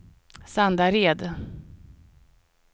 Sandared